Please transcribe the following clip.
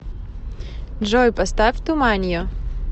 джой поставь туманио